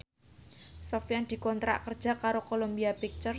Sofyan dikontrak kerja karo Columbia Pictures